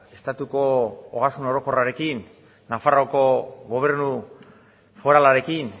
estatuko ogasun orokorrarekin nafarroako gobernu foralarekin